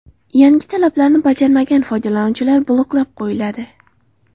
Yangi talablarni bajarmagan foydalanuvchilar bloklab qo‘yiladi.